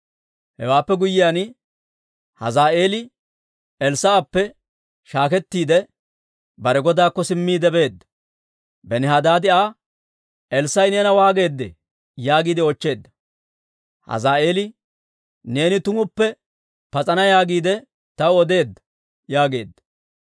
Hewaappe guyyiyaan, Hazaa'eeli Elssaa'eppe shaakettiide, bare godaakko simmiide beedda. Benihadaadi Aa, «Elssaa'i neena waageedee?» yaagiide oochcheedda. Hazaa'eeli, «Neeni tumuppe pas'ana yaagiide taw odeedda» yaageedda.